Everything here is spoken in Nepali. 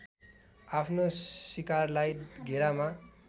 आफ्नो शिकारलाई घेरामा